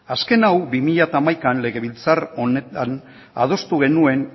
azken hau bi mila hamaikan legebiltzar honetan adostu genuen